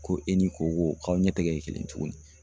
Ko e ni koko k'aw ɲɛ tɛgɛ kelen tuguni